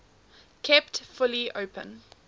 kept fully open